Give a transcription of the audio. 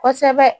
Kosɛbɛ